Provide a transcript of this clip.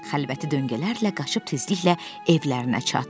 Xəlvəti döngələrlə qaçıb tezliklə evlərinə çatdı.